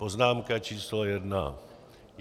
Poznámka číslo jedna.